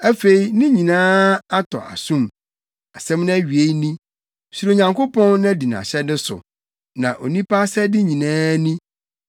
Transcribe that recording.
Afei ne nyinaa atɔ asom; nsɛm no awiei ni: Suro Onyankopɔn na di nʼahyɛde so, na onipa asɛde nyinaa ni.